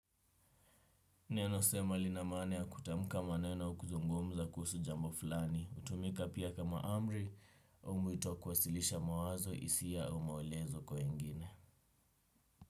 Neno sema lina maane ya kutamka maneno au kuzungumza kuhusu jambo fulani. Hutumika pia kama amri, au mwito kwasilisha mawazo hisia au maelezo kwa wengine.